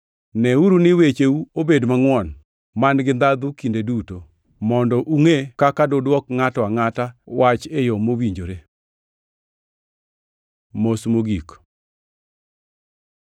Neuru ni wecheu obed mangʼwon man-gi ndhandhu kinde duto, mondo ungʼe kaka dudwoki ngʼato angʼata wach e yo mowinjore. Mos mogik